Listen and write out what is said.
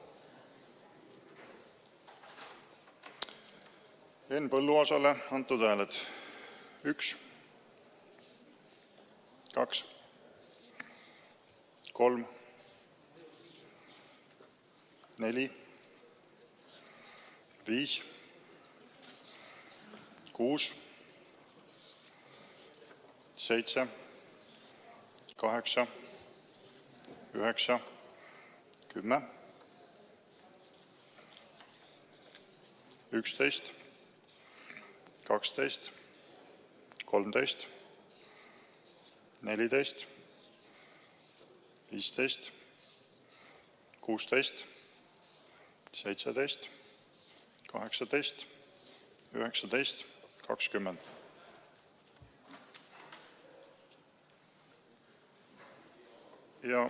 Henn Põlluaasale antud hääled: 1, 2, 3, 4, 5, 6, 7, 8, 9, 10, 11, 12, 13, 14, 15, 16, 17, 18, 19, 20.